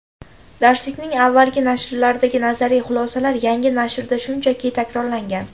Darslikning avvalgi nashrlaridagi nazariy xulosalar yangi nashrda shunchaki takrorlangan.